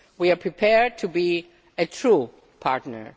We are prepared to be a true partner.